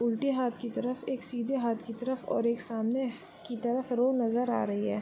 उलटी हाथ के तरफ एक सीधे हाथ के तरफ और एक सामने की तरफ रोड नज़र आ रही है |